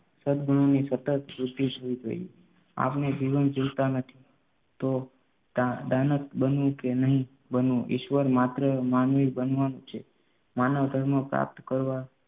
સદગુણોની સતત સોપિસવું જોઈએ આપણે જીવન જીવતા નથી તો દા દાનત બનવું કે નહીં બનવું ઈશ્વર માત્ર માનવી બનવાનું છે. માનવધર્મ પ્રાપ્ત કરવા